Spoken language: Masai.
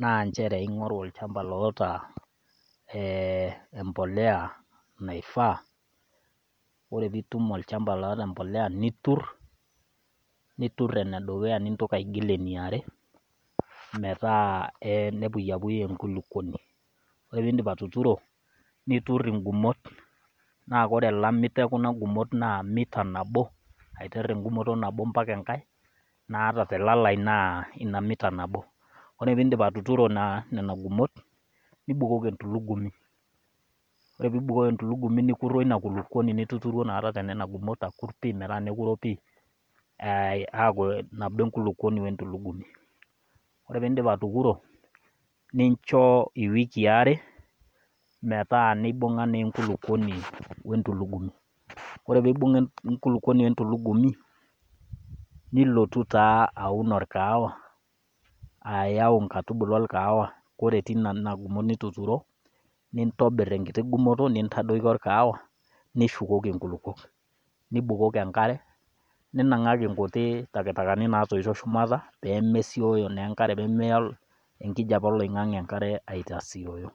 naa nchere ing'oru olchamba loata embolea naifaa. Ore peitum olchamba loata mbolea nitur enedukuya nintoki aigil eneare metaa nepuyapuyu enkulukuoni, ore pee indip atuturo, nitur ingumot. Naa ore elamito ongumot naa emita nabo aiter engumoto nabo mpaka engai naa ata telalai naa ina mita nabo. Ore pee indip atuturo nena gumot, nibukoki entulugumi, ore pee ibukoki entulugumi nikur weina kulukuoni nituturuo nakata tenena gumot nikur pii metaa nekurro pii aaku nabo enkulukuoni wentulugumi. Ore pee indip atukuro, nincho iwikii are metaa neibung'a naa enkulukuoni wentulugumi. Ore peibung'a enkulukuoni wentulugumi, nilotu taa aun olkahawa aaiyau inkaitubulu olkahawa, ore tenena gumot nituturo, nintobir enkiti gumoto nintadoiki olkahawa nishukoki inkulukuok, nibukoki engare, ninang'aki nkuti takatakani naatoito shumata pee mesioyo naa engare, peemeya enkijape oloing'ang'e enkare aitasioyo.